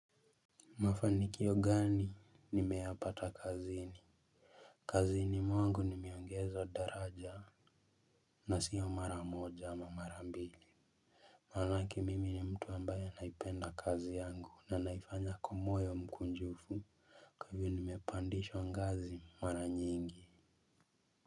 Mafanikio gani nimeyapata kazini. Kazini mwangu nimeongezwa daraja. Na siyo mara moja ama mara mbili. Manake mimi ni mtu ambaye anaipenda kazi yangu na naifanya kwa moyo mkunjufu kwa hivyo nimepandishwa ngazi mara nyingi.